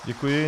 Děkuji.